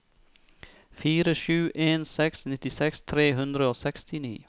fire sju en seks nittiseks tre hundre og sekstini